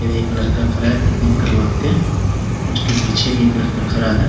ये लड़का खड़ा है कटिंग करवा के उसके पीछे में एक लड़का खड़ा है ।